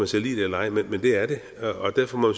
så lide det eller ej men det er det og derfor må